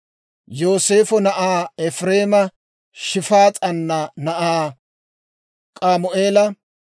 Yooseefo na'aa Efireema Shifs's'aana na'aa K'amu'eela;